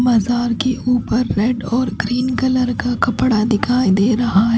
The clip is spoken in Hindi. मज़ार के ऊपर रेड और ग्रीन कलर का कपड़ा दिखाई दे रहा हैं।